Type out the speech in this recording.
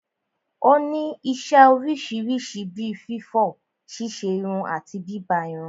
Ó ní isẹ́ oríṣiríṣi bí fífọ̀, ṣíṣerun àti bíbá irun.